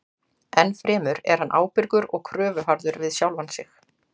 Ennfremur er hann ábyrgur og kröfuharður við sjálfan sig.